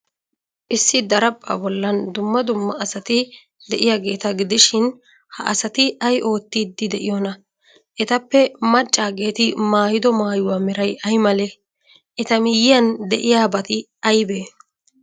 Issi daraphphaa bollan dumma dumma asati de'iyaageeta gidishin, ha asati ay oottiiddi de'iyoonaa? Etappe maccaageeti maayido maayuwaa meray ay malee? Eta miyyiyan de'iyaabati aybee?